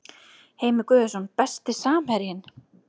Heimir Guðjónsson Besti samherjinn?